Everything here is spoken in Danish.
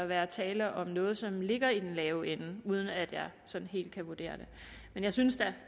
være tale om noget som ligger i den lave ende uden at jeg sådan helt kan vurdere det men jeg synes da